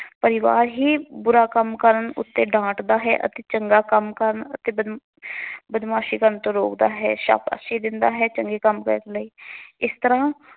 ਪਰਿਵਾਰ ਹੀ ਬੁਰਾ ਕੰਮ ਕਰਨ ਉੱਤੇ ਡਾਂਟਦਾ ਹੈ ਅਤੇ ਚੰਗਾ ਕੰਮ ਕਰਨ ਅਤੇ ਬਦ ਬਦਮਾਸ਼ੀ ਕਰਨ ਤੋਂ ਰੋਕਦਾ ਹੈ, ਸਾਬਸ਼ੀ ਦਿੰਦਾ ਹੈ। ਚੰਗੇ ਕੰਮ ਕਰਨ ਲਈ